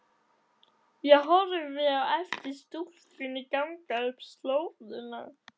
Ég horfi á eftir stúlkunni ganga upp slóðina.